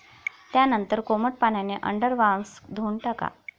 त्यानंतर कोमट पाण्याने अंडरआर्म्स धुवून टाका.